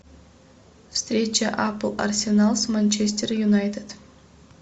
встреча апл арсенал с манчестер юнайтед